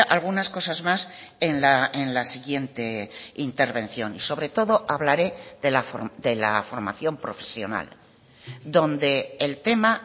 algunas cosas más en la siguiente intervención y sobre todo hablaré de la formación profesional donde el tema